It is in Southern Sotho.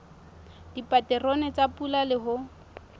dipaterone tsa pula le ho